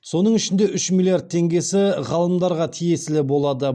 соның ішінде үш миллиард теңгесі ғалымдарға тиесілі болады